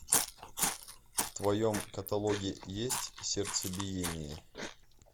в твоем каталоге есть сердцебиение